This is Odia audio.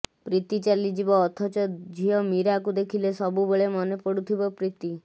ପ୍ରୀତି ଚାଲିଯିବ ଅଥଚ ଝିଅ ମୀରାକୁ ଦେଖିଲେ ସବୁବେଳେ ମନେପଡୁଥିବ ପ୍ରୀତି